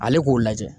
Ale k'o lajɛ